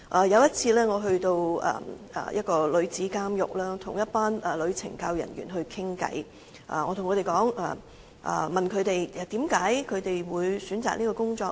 有一次，我探訪女子監獄時跟一群女懲教人員傾談，我問她們為何會選擇這份工作。